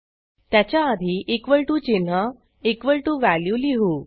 त्याच्या आधी equal to चिन्ह लिहू